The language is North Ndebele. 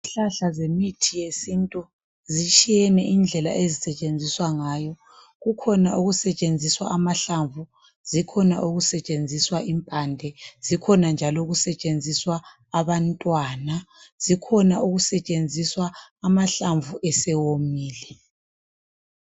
Izihlahla zemithi yesintu zitshiyene indlela ezisetshenziswa ngayo. Kukhona okusetshenziswa amahlamvu, impande, abantwana zikhona njalo okusetshenziswa amahlamvu sewomile.